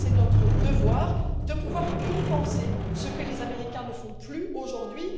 pense que c'est notre devoir de pouvoir compenser ce que les Américains ne font plus aujourd'hui.